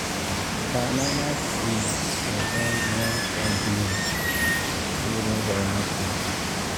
banana tree dey bend when storm blow during rainy season.